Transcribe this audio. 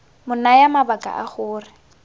mo naya mabaka a gore